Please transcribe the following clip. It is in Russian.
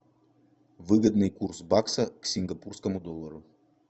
выгодный курс бакса к сингапурскому доллару